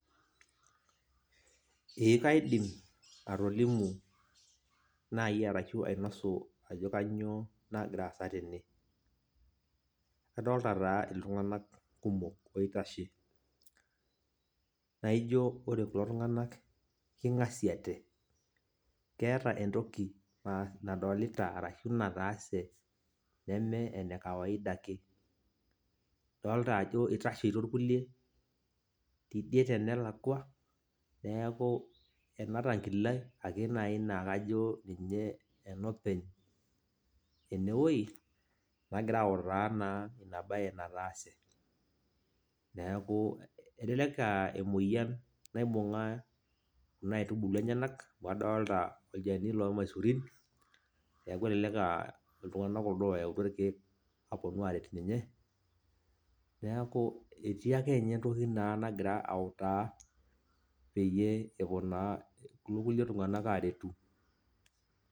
Ee kaidim atolimu, nai arashu ainosu ajo kanyioo nagira aasa tene. Adolta taa iltung'anak oitashe. Naijo ore kulo tung'anak, king'asiate, keeta entoki nadolita arashu nataase neme enekawaida ake. Adolta ajo itasheito irkulie tidie tenelakwa, neeku ena tankile ake nai nakajo ninye enopeny enewoi, nagira autaa naa inabae nataase. Neeku, elelek aa emoyian naibung'a kuna aitubulu enyanak, amu adolta olchani lormaisurin, neeku elelek ah iltung'anak kuldo oyautua irkeek, aponu aret ninye, neeku etii akenye entoki naa nagira autaa, peyie epuo naa kulo kulie tung'anak aretu.